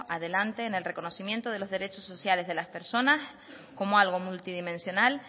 adelante en el reconocimiento de los derechos sociales de las personas como algo multidimensional